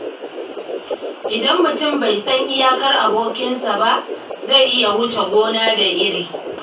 Idan mutum bai san iyakar abotarsa ba, zai iya wuce gona da iri a abota.